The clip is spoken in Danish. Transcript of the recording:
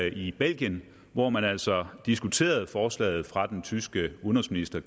i belgien hvor man altså diskuterede forslaget fra den tyske udenrigsminister